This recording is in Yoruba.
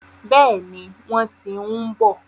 Bẹ́ẹ̀ni, wọ́n ti ń bọ̀.